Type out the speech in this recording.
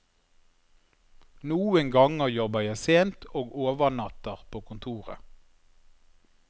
Noen ganger jobber jeg sent, og overnatter på kontoret.